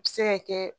A bɛ se ka kɛ